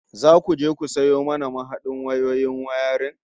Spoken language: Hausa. Zaku je ku sayo mana mahadar wayoyin wayarin